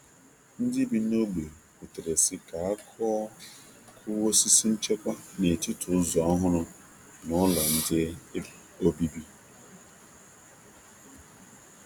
Ndị bi n’ógbè kwutere si ka a kuọ osisi nchekwa n’etiti ụzọ ọhụrụ na ụlọ nde obibi.